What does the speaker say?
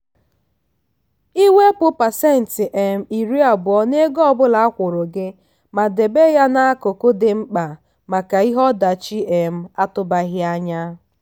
iwepụ pasentị um iri abụọ n'ego ọ bụla akwụrụ gị ma debe ya n'akụkụ dị mkpa maka ihe ọdachi um atụbaghị anya.